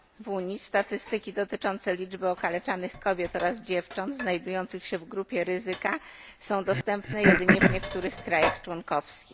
W Unii statystyki dotyczące liczby okaleczanych kobiet oraz dziewcząt znajdujących się w grupie ryzyka są dostępne jedynie w niektórych krajach członkowskich.